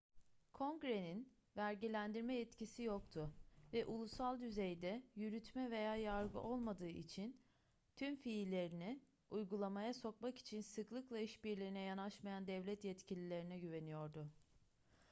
kongrenin vergilendirme yetkisi yoktu ve ulusal düzeyde yürütme veya yargı olmadığı için tüm fiillerini uygulamaya sokmak için sıklıkla işbirliğine yanaşmayan devlet yetkililerine güveniyordu